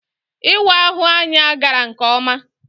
Ịwa ahụ anya gara nke ọma.